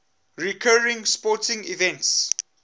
recurring sporting events